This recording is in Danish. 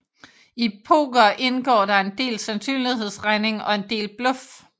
I poker indgår der en del sandsynlighedsregning og en del bluff